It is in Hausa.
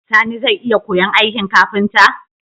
Sani zai iya koyan aikin kafinta?